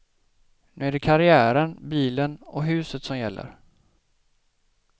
Nu är det karriären, bilen och huset som gäller.